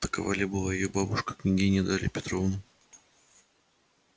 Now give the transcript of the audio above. такова ли была её бабушка княгиня дарья петровна